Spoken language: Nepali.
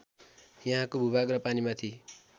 यहाँको भूभाग र पानीमाथि